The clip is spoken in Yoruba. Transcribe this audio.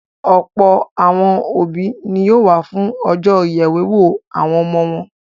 Ọ̀pọ̀ àwọn òbí ni yóò wà fún ọjọ́ ìyèwéwó àwọn ọmọ wọn.